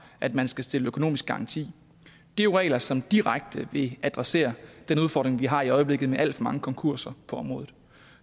at man skal stille økonomisk garanti det er jo regler som direkte vil adressere den udfordring vi har i øjeblikket med alt for mange konkurser på området